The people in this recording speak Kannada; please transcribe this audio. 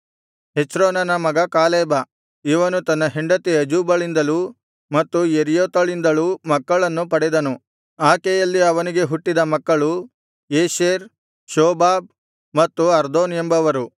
ಹೆಚ್ರೋನನ ಮಗ ಕಾಲೇಬ ಇವನು ತನ್ನ ಹೆಂಡತಿ ಅಜೂಬಳಿಂದಲೂ ಮತ್ತು ಯೆರ್ಯೋತಳಿಂದಲೂ ಮಕ್ಕಳನ್ನು ಪಡೆದನು ಆಕೆಯಲ್ಲಿ ಅವನಿಗೆ ಹುಟ್ಟಿದ ಮಕ್ಕಳು ಯೇಷೆರ್ ಶೋಬಾಬ್ ಮತ್ತು ಅರ್ದೋನ್ ಎಂಬವರು